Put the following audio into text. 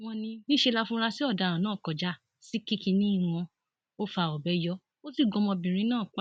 wọn ní níṣẹ láfúrásì ọdaràn náà kọjá sí kìkínní wọn ò fa ọbẹ yọ ó sì gun ọmọbìnrin náà pa